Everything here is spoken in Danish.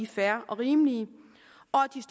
fair og rimelige